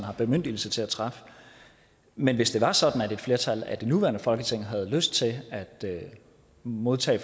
har bemyndigelse til at træffe men hvis det var sådan at et flertal af det nuværende folketing havde lyst til at modtage